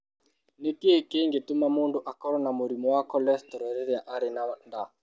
Nĩ kĩĩ gĩtũmaga mũndũ akorũo na mũrimũ wa cholesterol rĩrĩa arĩ na nda?